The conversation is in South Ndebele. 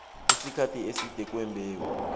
isikhathi eside kwembewu